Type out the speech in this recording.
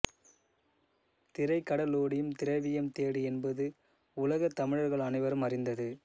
திரைகடலோடியும் திரவியம் தேடு என்பது உலகத் தமிழர்கள் அனைவரும் அறிந்தது